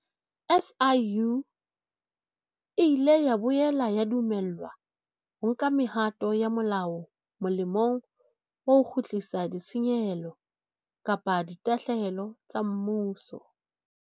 SIU e ile ya boela ya dumellwa ho nka mehato ya molao molemong wa ho kgutlisa ditshenyehelo kapa ditahlehelo tsa mmuso.